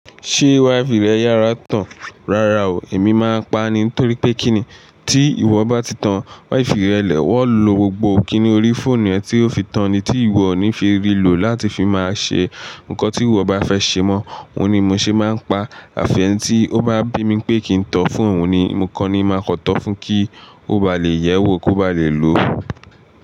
Ṣé wifi rẹ yára tán? Rárá o, èmi máa ń pa'ni. Nítorí pé kí ni tí ìwọ bá ti tan wifi rẹ lẹ wọ́ lọ gbogbo kiní orí phone ẹ tí ó fi tan ni tí ìwọ ò ní fi rí lò láti fi máa ṣe nǹkan tí ìwọ bá fẹ́ ṣe mọ́, òun ni mo ṣe máa ń pa. Àfi ẹni tí ó bá bí mi pé kí n tan fún òun ni, mo kọ ni máa kọ̀tọ́ fún kí ó bá lè yẹ̀wò kí ó bá lè lò ó.